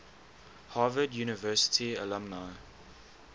harvard university alumni